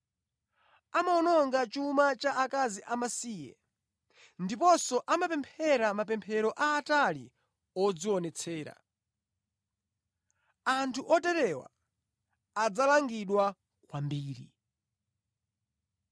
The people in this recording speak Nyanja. Amawononga chuma cha akazi amasiye ndiponso amapemphera mapemphero aatali odzionetsera. Anthu oterewa adzalangidwa kwambiri.”